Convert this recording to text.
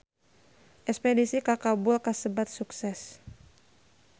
Espedisi ka Kabul kasebat sukses